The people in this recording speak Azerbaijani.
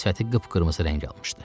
Sifəti qıpqırmızı rəng almışdı.